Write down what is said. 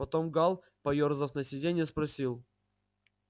потом гаал поёрзав на сидении спросил